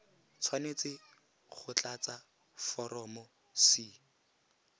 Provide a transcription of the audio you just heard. tshwanetse go tlatsa foromo c